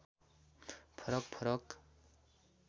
फरक फरक